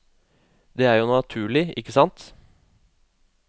Det er jo naturlig, ikke sant.